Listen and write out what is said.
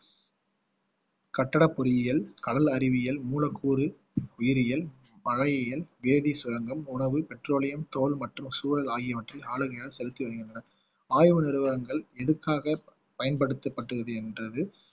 கட்டிட பொறியியல் கடல் அறிவியல் மூலக்கூறு உயிரியல் பழையியல் வேதி சுரங்கம் உணவு பெட்ரோலியம் தோல் மற்றும் சூழல் ஆகியவற்றில் ஆளுமையாக செலுத்தி வருகின்றனர் ஆய்வு நிறுவனங்கள் எதுக்காக பயன்படுத்தப்பட்டது என்றது